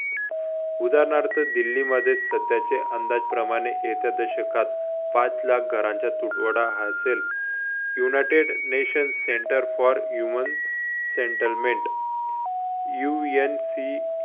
उदाहरणार्थ दिल्लीमध्ये सध्याचे अंदाजप्रमाणे एका दशकात पाच लाख घरांचा तुटवडा असेल united nation center for human settlement UNC